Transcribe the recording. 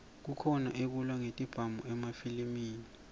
kukhona ekulwa ngetibhamu emafilimi